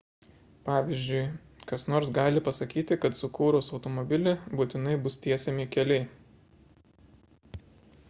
pavyzdžiui kas nors gali pasakyti kad sukūrus automobilį būtinai bus tiesiami keliai